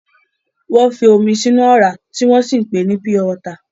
Wọ́n ń fi omi sínú ọ̀rá, tí wọ́n sì ń pèé ní pure water.